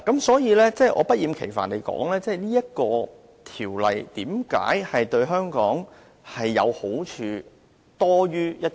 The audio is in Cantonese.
所以，我要不厭其煩的指出此條例為何對香港利多於弊。